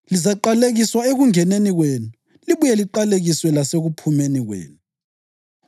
Lizaqalekiswa ekungeneni kwenu libuye liqalekiswe lasekuphumeni kwenu.